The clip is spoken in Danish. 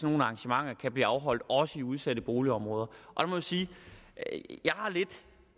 nogle arrangementer kan blive afholdt også i udsatte boligområder jeg må sige at